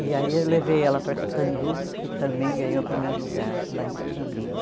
E aí eu levei ela para Catanduva, que também ganhou o primeiro lugar lá em Catanduva.